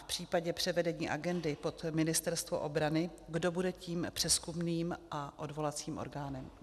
V případě převedení agendy pod Ministerstvo obrany, kdo bude tím přezkumným a odvolacím orgánem?